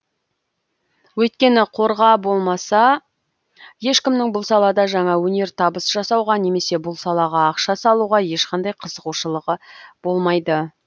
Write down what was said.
өйткені қорға болмаса ешкімнің бұл салада жаңа өнертабыс жасауға немесе бұл салаға ақша салуға ешқандай қызығушылығы болмайды